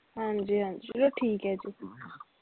ਹਾਂਜੀ ਹਾਂਜੀ ਚਲੋ ਠੀਕ ਐ ਜੀ